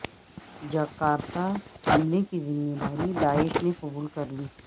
Jakarta حملے کی ذمہ داری داعش نے قبول کر لی